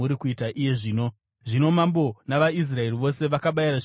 Zvino mambo navaIsraeri vose vakabayira zvibayiro pamberi paJehovha.